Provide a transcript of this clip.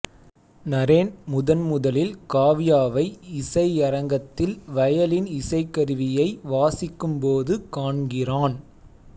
நரேன் முதன்முதலில் காவ்யாவை இசையரங்கத்தில் வயலின் இசைக்கருவியை வாசிக்கும் போது காண்கிறான்